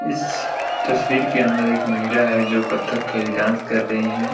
इस तस्वीर के अंदर एक महिला है जो कत्थककली डांस कर रही है।